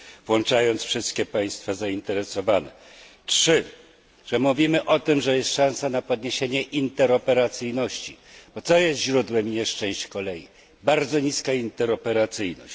włączając wszystkie państwa zainteresowane. Po trzecie mówimy o tym, że jest szansa na podniesienie interoperacyjności. Bo co jest źródłem nieszczęść kolei? Bardzo niska interoperacyjność.